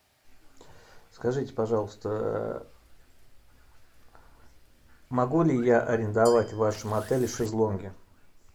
скажите пожалуйста могу ли я арендовать в вашем отеле шезлонги